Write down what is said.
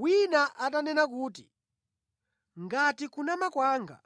Wina atanena kuti, “Ngati kunama kwanga